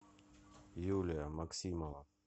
юлия максимова